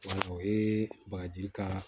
Wala o ye bagaji kaa